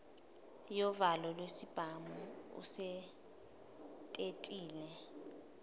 yovalo lwesibhamu usetetile